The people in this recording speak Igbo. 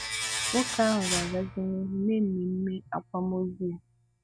wòkè ahụ ga-agazì n’ìhù mee mmèmè àkwàmòzù ya.